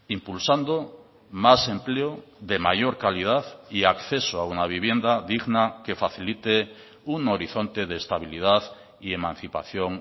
impulsando más empleo de mayor calidad y acceso a una vivienda digna que facilite un horizonte de estabilidad y emancipación